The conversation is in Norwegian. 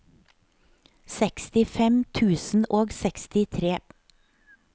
sekstifem tusen og sekstitre